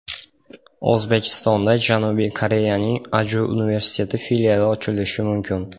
O‘zbekistonda Janubiy Koreyaning Aju universiteti filiali ochilishi mumkin.